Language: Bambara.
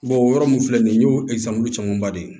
o yɔrɔ mun filɛ nin ye n y'o esige olu camanba de